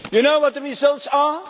Do you know what the results